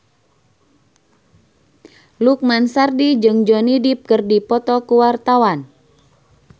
Lukman Sardi jeung Johnny Depp keur dipoto ku wartawan